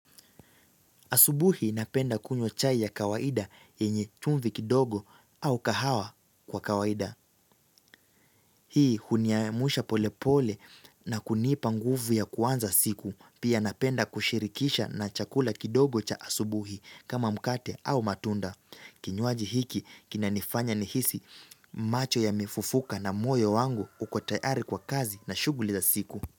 Asubuhi napenda kunywa chai ya kawaida yenye chumvi kidogo au kahawa kwa kawaida. Hii huniamsha pole pole na kunipa nguvu ya kuanza siku. Pia napenda kushirikisha na chakula kidogo cha asubuhi kama mkate au matunda. Kinywaji hiki kinanifanya nihisi macho yamefufuka na moyo wangu uko tayari kwa kazi na shughuli za siku.